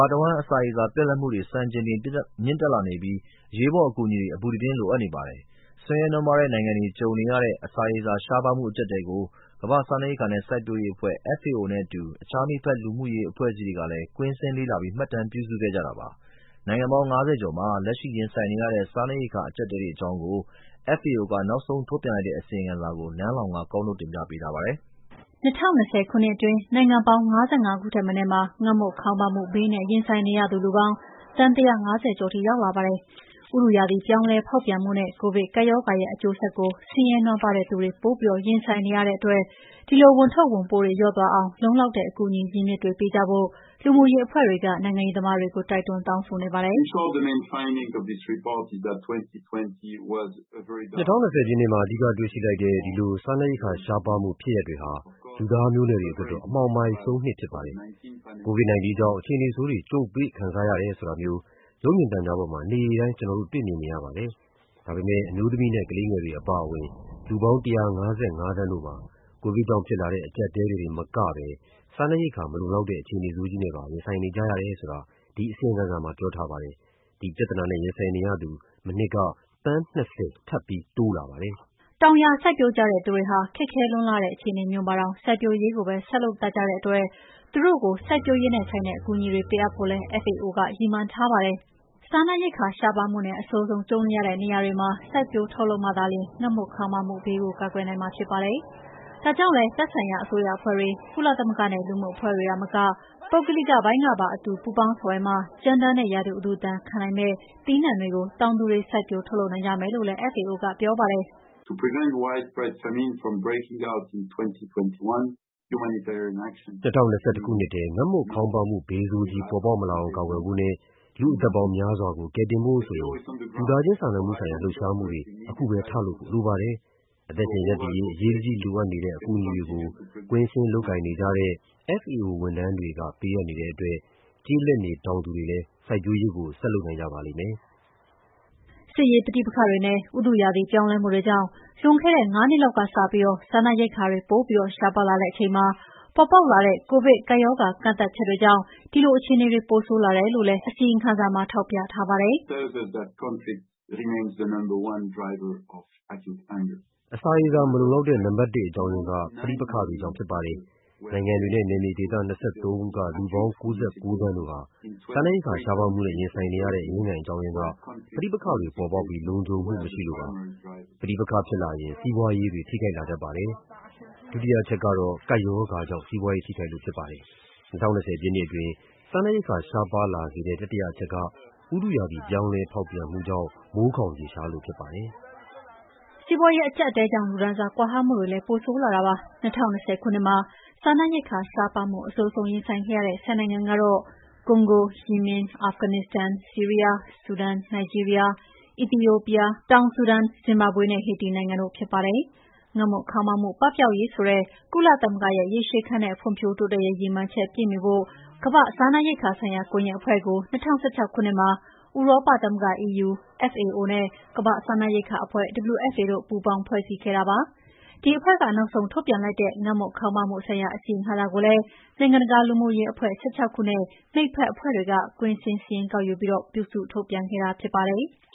ာတဝှမ်း အစာရေစာ ရှားပါးမှုပြတ်လပ်မှုနဲ့ ရင်ဆိုင်နေရသူတွေ ၅ နှစ်အတွင်း စံချိန်တင်မြင့်တက်လာနေပြီး အရေးပေါ်အကူအညီတွေ အပူတပြင်းလိုအပ်နေပါတယ်။ ဆင်းရဲနွမ်းပါးတဲ့နိုင်ငံတွေမှာကြုံနေရတဲ့ အစာရေစာရှားပါးမှု အကြပ်အတည်းတွေကို ကမ္ဘာ့စားနပ်ရိက္ခာနဲ့စိုက်ပျိုးရေးအဖွဲ့ FAO နဲ့အတူ အခြားမိတ်ဖက် လူမှုရေးအဖွဲ့အစည်းတွေက ကွင်းဆင်းလေ့လာပြီး မှတ်တမ်းပြုစုခဲ့ကြတာပါ။ နိုင်ငံပေါင်း ၅၀ ကျော်မှာ လက်ရှိရင်ဆိုင်နေရတဲ့ စားနပ်ရိက္ခာအကြပ်အတည်းအကြောင်း FAO ကနောက်ဆုံးထုတ်ပြန်လိုက်တဲ့အစီရင်ခံစာကို နန်းလောင်ဝ်က ကောက်နုတ်တင်ပြထားပါတယ်။ ၂၀၂၀ခုနှစ်အတွင်း နိုင်ငံပေါင်း ၅၅ ခုထက်မနည်းမှာ ငတ်မွတ်ခေါင်းပါးမှုဘေးနဲ့ ရင်ဆိုင်နေရသူလူပေါင်း သန်း ၁၅၀ ကျော်ထိ ရောက်လာပါတယ်။ ဥတုရာသီပြောင်းလဲဖောက်ပြန်မှုနဲ့ ကိုဗစ် ကပ်ရောဂါရဲ့ အကျိုးဆက်ကို ဆင်းရဲနွမ်းပါးသူတွေ ပိုပြီးရင်ဆိုင်နေကြရတဲ့အတွက် ဒီဝန် ထုပ်ဝန်ပိုး တွေလျော့သွားအောင် လုံလောက်တဲ့ အကူအညီရင်းမြစ်တွေေပေးကြဖို့ လူမှုရေးအဖွဲ့တွေက နိုင်ငံရေးသမားတွေကို တိုက်တွန်း တောင်းဆိုနေကြပါတယ်။ FAO အရေးပေါ်ဆိုင်ရာဌာနက ညွှန်ကြားရေးမှူး Dominique Burgeon က အခုလို ပြောပါတယ်။ “၂၀၂၀ ခုနှစ်မှာ အဓိကတွေ့ရှိလိုက်တဲ့ဒီလို စားနပ်ရိက္ခာရှားပါးမှု ဖြစ်ရပ်တွေဟာ လူ့သားမျိုးနွယ်တွေအတွက်တော့ အမှောင်မိုက်ဆုံးနှစ်ဖြစ်ပါတယ်။ COVID-19 ကြောင့် အခြေအနေဆိုးတွေ ကြုံတွေ့ခံစားရတယ်ဆိုတာမျိုး နေ့တိုင်းရုပ်မြင်သံကြားပေါ်မှာ ကျနော်တု့ိတွေ့ မြင်နေရပါတယ်။ ဒါပေမယ့် အမျိုးသမီးနဲ့ ကလေးငယ်တွေအပါအဝင် လူပေါင်း ၁၅၅ သန်းတို့မှာ ကိုဗစ်ကြောင့်ဖြစ်လာတဲ့ အကြပ်အတည်းတွေတင်မကပဲ စားနပ်ရိက္ခာမလုံလောက်တဲ့အခြေဆိုးကြီးနဲ့ပါ ရင်ဆိုင်နေကြရတယ်ဆိုတာ ဒီအစီရင်ခံစာမှာ ပြောပြထားပါတယ်။ ဒီပြဿနာနဲ့ ရင်ဆိုင်နေရသူ မနှစ်က သန်း ၂၀ ထပ်ပြီး တိုးလာပါတယ် “ တောင်ယာစိုက်ပျိုးကြတဲ့သူတွေဟာ ခက်ခဲလွန်း လှတဲ့အခြေအနေမျိုးမှာတောင် စိုက်ပျိုးရေးကိုပဲဆက်လုပ်တတ်ကြတဲ့အတွက် သူတို့ကို စိုက်ပျိုးရေးနဲ့ဆိုင်တဲ့ အကူအညီတွေပေးအပ်ဖို့ FAO ကရည်မှန်းထားပါတယ်။စားနပ်ရိက္ခာရှားပါးမှုနဲ့ အဆိုးဆုံးကြုံနေရတဲ့နေရာတွေမှာ စိုက်ပျိုးထုတ်လုပ်မှသာလ ျှင် ငတ်မွတ်ခေါင်းပါးမှုဘေးကို ကာကွယ်နိုင်မှာဖြစ်ပါတယ်။ ဒါကြောင့်လည်းသက်ဆိုင်ရာအစိုးရအဖွဲ့တွေ၊ ကုလသမဂ္ဂနဲ့ လူမှုအဖွဲ့တွေသာမက ပုဂ္ဂလိကပိုင်းကပါ အတူ ပူးပေါင်းဆောင်ရွက်မှသာလ ျှင် ကြမ်းတမ်းတဲ့ ရာသီဥတုဒဏ်ခံနိုင်မယ့် သီးနံှတွေကို တောင်သူတွေ စိုက်ပျိုးထုတ်လုပ်နိုင်ကြမယ်လို့လည်း FAO က ပြောပါတယ်။ FAO အရေးပေါ်ဆိုင်ရာဌာနက ညွှန်ကြားရေးမှူး Dominique Burgeon က အခုလို ပြောပါတယ်။ “၂၀၂၁ ခုနှစ်ထဲ ငတ်မွတ်ခေါင်းပါးမှုဘေးဆိုးကြီးပေါ်ပေါက်မလာအောင် ကာကွယ်ဖို့နဲ့ လူ့ အသက်ပေါင်းများစွာကို ကယ်တင်ဖို့ဆိုရင် လူသားချင်းစာနာမှုဆိုင်ရာ လှုပ်ရှားမှုတွေ အခုထလုပ်ဖို့ လိုပါတယ်။ အသက်ရှင်ရပ်တည်ရေး အရေးတကြီးလိုအပ်နေတဲ့ အကူအညီတွေကို ကွင်းဆင်း လုပ်ကိုင်နေကြတဲ့ FAO ဝန်ထမ်းတွေက ပေးအပ်နေတဲ့အတွက် ကျေးလက်နေ တောင်သူတွေလည်း စိုက်ပျိုးရေးကို ဆက်လုပ်နိုင်ကြပါလိမ့်မယ်” စစ်ရေး ပဋိပက္ခတွေနဲ့ ဥတုရာသီပြောင်းလဲမှုတွေကြောင့် လွန်ခဲ့တဲ့ ၅ နှစ်လောက်ကစပြီး စားနပ်ရိက္ခာတွေပိုပြီး ရှားပါးလာတဲ့အချိန်မှာ ပေါ်ပေါက်လာတဲ့ ကိုဗစ်ကပ်ရောဂါ ကန့်သတ်ချက်တွေကြောင့် အဲဒီအခြေအနေတွေပိုဆိုးလာတယ်လို့ GRFC ရဲ့အစီရင်ခံစာမှာရေးပါတယ်။ FAO အရေးပေါ်ဆိုင်ရာဌာနက ညွှန်ကြားရေးမှူး Dominique Burgeon က “အစာရေစာမလုံလောက်တဲ့ နံပတ်တစ် အကြောင်းရင်းက ပဋိပက္ခတွေကြောင့်ဖြစ်ပါတယ်။ နိုင်ငံတွေနဲ့ နယ်မြေဒေသ ၂၃ ခုကလူပေါင်း ၉၉ သန်းတို့ စားနပ်ရိက္ခာရှားပါးမှုနဲ့ရင်ဆိုင်နေရတဲ့ အရင်းခံအကြောင်းရင်းက ပဋိပက္ခတွေပေါ်ပေါက်ပြီး လုံခြုံမှု မရှိလို့ဖြစ်ပါတယ်။ ပဋိပက္ခဖြစ်လာရင် စီးပွားရေးတွေ ထိခိုက်လာတတ်ပါတယ်။ ဒုတိယအချက်ကတော့ ကပ်ရောဂါကြောင့် စီးပွားရေးထိခိုက်လို့ဖြစ်ပါတယ်။ ၂၀၂၀ခုနှစ်အတွင်း စားနပ်ရိက္ခာရှားပါးလာစေတဲ့ တတိယ အချက်က ဥတုရာသီပြောင်းလဲဖောက်ပြန်မှုကြောင့် မိုးခေါင်ရေရှားလို့ဖြစ်ပါတယ်။” စီးပွားရေးအကြပ်အတည်းကြောင့် လူတန်းစားကွာဟမှု တွေပိုဆိုးလာပါတယ်။ ၂၀၂၀ ခုနှစ်မှာ စားနပ်ရိက္ခာရှားပါးမှု အဆိုးဆုံးရင်ဆိုင်ခဲ့ရတဲ့ ၁၀ နိုင်ငံကတော့ ကွန်ဂို၊ ယီမင်၊ အာဖဂန်နစ္စတန်၊ ဆီးရီးယား၊ ဆူဒန်၊ နိုင်ဂျီးရီးယား၊ အီသီယိုးပီးယား၊ တောင်ဆူဒန်၊ ဇင်ဘာဘွေနဲ့ ဟေတီနိုင်ငံတို့ဖြစ်ပါတယ်။ ငတ်မတ်မွတ်ခေါင်းပါးမှု ပပျောက်ရေးဆိုတဲ့ကုလသမဂ္ဂရဲ့ရေရှည်ခံတဲ့ဖွံ့ဖြိုးတိုးတက်ရေး ရည်မှန်းချက်ပြည့်မှီဖို့ ဝိုင်းဝန်းလုပ်ကိုင်တဲ့အနေနဲ့ ကမ္ဘာ့ စားနပ်ရိက္ခာဆိုင်ရာကွန်ယက်အဖွဲ့ကို ၂၀၁၆ ခုနှစ်မှာ ဥရောပသမဂ္ဂ EU၊ FAO နဲ့ ကမ္ဘာ့စားနပ်ရိက္ခာအဖွဲ့ WFP တို့ ပူးပေါင်းဖွဲ့စည်းပြီး လုပ်ကိုင်လာတာဖြစ်ပါတယ်။ ဒီအဖွဲ့က နောက်ဆုံးထုတ်ပြန်လိုက်တဲ့ ငတ်မွတ်ခေါင်းပါးမှု ဆိုင်ရာ အစီရင်ခံစာကိုလည်း နိုင်ငံတကာ လူမှုရေးအဖွဲ့ ၁၆ခုနဲ့ မိတ်ဖက်အဖွဲ့တွေက ကွင်းဆင်းစားရင်းကောက်ယူပြီး ပြုစုထုတ်ပြန်ခဲ့တာ ဖြစ်ပါတယ်။